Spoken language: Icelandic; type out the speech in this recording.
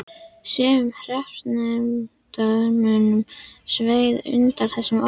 Sumum hreppsnefndarmönnum sveið undan þessum orðum.